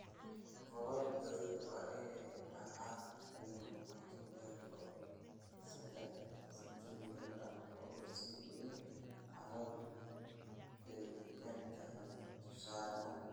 Godad beeriddu waa inay ahaadaan kuwo qoto dheer oo sadah sentimitar ah oo iftiin iyo carradu engegan tahay tusaale ahaan.